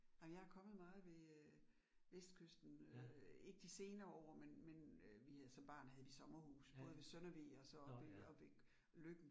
Ej, men jeg kommet meget ved øh Vestkysten øh, ikke de senere år, men men øh vi havde som barn havde vi sommerhus, både ved Søndervig og så oppe oppe ved Løkken